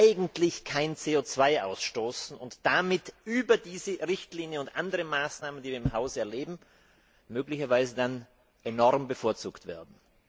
eigentlich kein CO ausstoßen und damit über diese Richtlinie und andere Maßnahmen, die wir im Haus erleben, möglicherweise enorm bevorzugt werden?